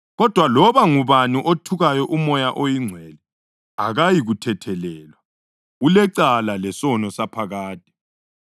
kodwa loba ngubani othuka uMoya oNgcwele akayikuthethelelwa; ulecala lesono saphakade.”